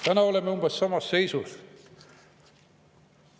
" Täna oleme umbes samas seisus.